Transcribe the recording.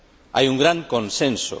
Hay un gran consenso.